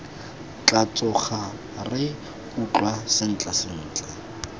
tla tsoga re utlwa sentlentle